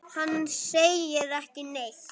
Hann segir ekki neitt.